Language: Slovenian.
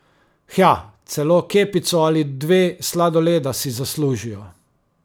Hja, celo kepico ali dve sladoleda si zaslužijo.